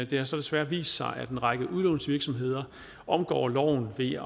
det har så desværre vist sig at en række udlånsvirksomheder omgår loven ved